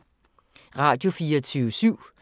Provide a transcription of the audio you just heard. Radio24syv